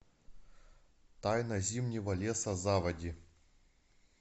тайна зимнего леса заводи